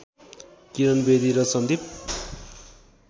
किरण बेदी र सन्दीप